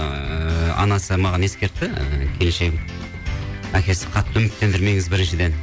ыыы анасы маған ескертті ы келіншегім әкесі қатты үміттендірмеңіз біріншіден